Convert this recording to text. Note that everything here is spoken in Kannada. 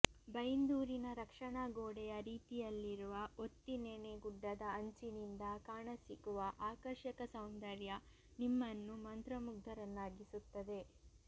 ಬೈಂದೂರಿನ ರಕ್ಷಣಾಗೋಡೆಯ ರೀತಿಯಲ್ಲಿರುವ ಒತ್ತಿನೆಣೆ ಗುಡ್ಡದ ಅಂಚಿನಿಂದ ಕಾಣಸಿಗುವ ಆಕರ್ಷಕ ಸೌಂದರ್ಯ ನಿಮ್ಮನ್ನು ಮಂತ್ರಮುಗ್ಧರನ್ನಾಗಿಸುತ್ತದೆ